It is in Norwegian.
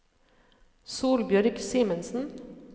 Solbjørg Simensen